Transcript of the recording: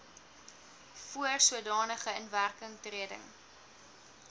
voor sodanige inwerkingtreding